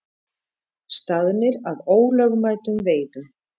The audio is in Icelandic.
Staðnir að ólögmætum veiðum